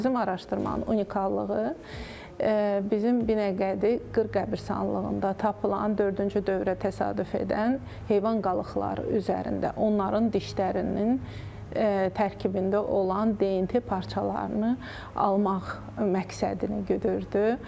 Bizim araşdırmanın unikallığı bizim Binəqədi Qırqırsanlığında tapılan dördüncü dövrə təsadüf edən heyvan qalıqları üzərində onların dişlərinin tərkibində olan DNT parçalarını almaq məqsədini güdürdü.